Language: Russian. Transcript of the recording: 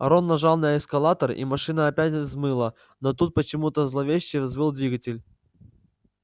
рон нажал на эскалатор и машина опять взмыла но тут почему-то зловеще взвыл двигатель